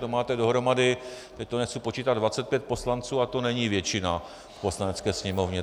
To máte dohromady, teď to nechci počítat, 25 poslanců a to není většina v Poslanecké sněmovně.